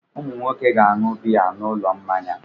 Ụmụ nwoke ga-aṅụ biya n'ụlọ mmanya.